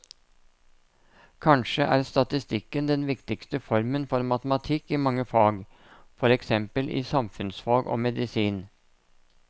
Kanskje er statistikken den viktigste formen for matematikk i mange fag, for eksempel i samfunnsfag og medisin.